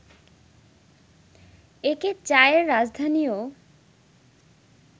একে চায়ের রাজধানীও